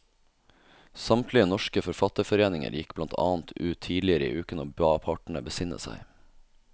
Samtlige norske forfatterforeninger gikk blant annet ut tidligere i uken og ba partene besinne seg.